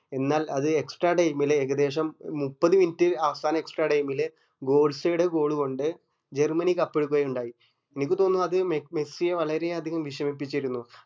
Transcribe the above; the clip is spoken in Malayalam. എന്നാൽ അത് extra time ലെ ഏകദേശം മുപ്പത് minut അവസാനം extra time ല് ബോള്സെടെ goal കൊണ്ട് ജർമനി cup എടുക്കുകയുണ്ടായി അനക്ക് തോന്നുന്നു അത് മെസ് മെസ്സിയെ വളരെ അതികം വേഷമിപ്പിച്ചിരുന്നു